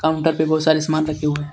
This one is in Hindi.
काउंटर पे बहोत सारे सामान रखे हुए हैं.